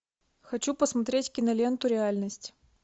хочу посмотреть киноленту реальность